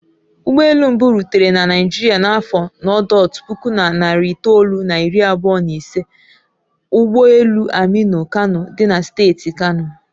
Ụgbọ elu mbụ rutere na Naijiria n'afọ n'ọdotu puku na narị itoolu na iri abụọ na ise ụ ụgbọ elu aminu kano dị na steeti kano